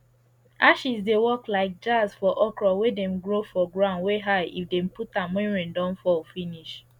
ashes dey work like jazz for okro wey dem grow for ground wey high if dem put am wen rain don fall finish